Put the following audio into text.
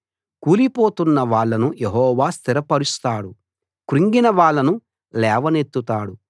కూలిపోతున్న వాళ్ళను యెహోవా స్థిరపరుస్తాడు కృంగిన వాళ్ళను లేవనెత్తుతాడు